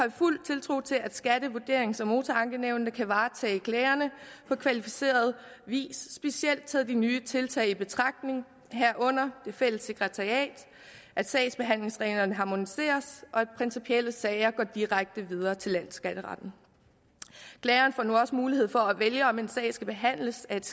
fuld tiltro til at skatte vurderings og motorankenævnene kan varetage klagerne på kvalificeret vis specielt taget de nye tiltag i betragtning herunder det fælles sekretariat at sagsbehandlingsreglerne harmoniseres og at principielle sager går direkte videre til landsskatteretten klageren får nu også mulighed for at vælge om en sag skal behandles af et